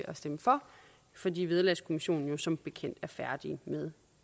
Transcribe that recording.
at stemme for fordi vederlagskommissionen som bekendt er færdige med